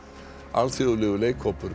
alþjóðlegur leikhópur